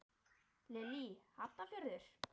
Lillý: Hafnarfjörður?